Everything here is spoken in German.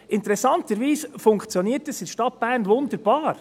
Interessanterweise funktioniert es in der Stadt Bern wunderbar.